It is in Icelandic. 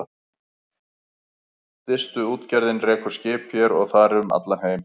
Distuútgerðin rekur skip hér og þar um allan heim.